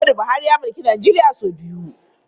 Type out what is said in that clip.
Muhammadu Buhari ya mulki Najeriya sau biyu.